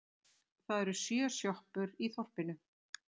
Það eru sjö sjoppur í þorpinu!